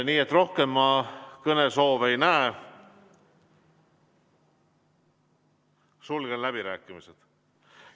Nii et rohkem kõnesoove ma ei näe, sulgen läbirääkimised.